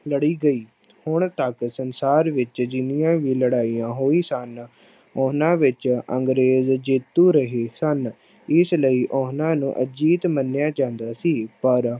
ਲੜੀ ਗਈ, ਹੁਣ ਤੱਕ ਸੰਸਾਰ ਵਿੱਚ ਜਿੰਨੀਆਂ ਵੀ ਲੜਾਈਆਂ ਹੋਈ ਸਨ, ਉਹਨਾਂ ਵਿੱਚ ਅੰਗਰੇਜ਼ ਜੇਤੂੂ ਰਹੇ ਸਨ, ਇਸ ਲਈ ਉਹਨਾਂ ਨੂੰ ਅਜਿੱਤ ਮੰਨਿਆ ਜਾਂਦਾ ਸੀ, ਪਰ